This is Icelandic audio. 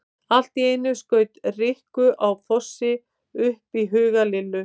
Allt í einu skaut Rikku á Fossi upp í huga Lillu.